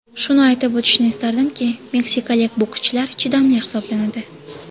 Shuni aytib o‘tishni istardimki, meksikalik bokschilar chidamli hisoblanadi.